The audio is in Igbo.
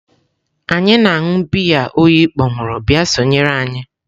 Anyị na-aṅụ biya oyi kpọnwụrụ bịa sonyere anyị.